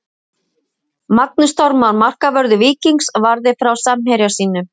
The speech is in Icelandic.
Magnús Þormar markvörður Víkings varði frá samherja sínum.